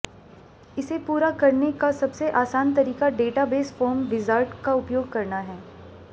इसे पूरा करने का सबसे आसान तरीका डेटाबेस फॉर्म विज़ार्ड का उपयोग करना है